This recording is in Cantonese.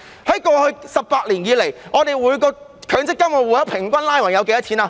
在過去18年，每個強積金戶口平均有多少錢？